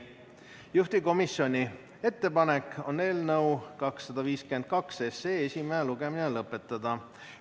Juhtivkomisjoni ettepanek on eelnõu 252 esimene lugemine lõpetada.